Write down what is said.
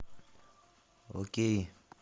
окей